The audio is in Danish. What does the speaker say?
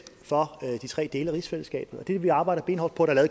for de tre dele af rigsfællesskabet det vil vi arbejde benhårdt på der er